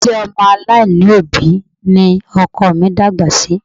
Ilé ọmọ aláìní ni òbí ni ọkọ mi dàgbà sí